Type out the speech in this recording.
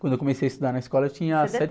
Quando eu comecei a estudar na escola, eu tinha